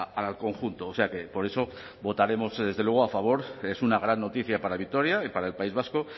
al conjunto o sea que por eso votaremos a favor es una gran noticia para vitoria y para el país vasco